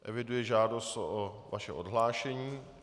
Eviduji žádost o vaše odhlášení.